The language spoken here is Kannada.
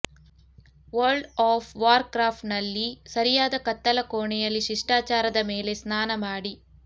ವರ್ಲ್ಡ್ ಆಫ್ ವಾರ್ಕ್ರಾಫ್ಟ್ನಲ್ಲಿ ಸರಿಯಾದ ಕತ್ತಲಕೋಣೆಯಲ್ಲಿ ಶಿಷ್ಟಾಚಾರದ ಮೇಲೆ ಸ್ನಾನ ಮಾಡಿ